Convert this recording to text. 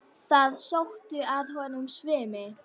Það sótti að honum svimi.